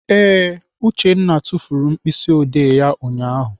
Ee, Uchenna tufuru mkpịsịodee ya ụnyaahụ.